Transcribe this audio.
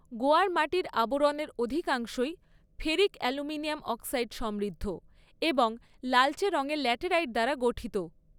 গোয়ার মাটির আবরণের অধিকাংশই ফেরিক অ্যালুমিনিয়াম অক্সাইড সমৃদ্ধ এবং লালচে রঙের ল্যাটেরাইট দ্বারা গঠিত।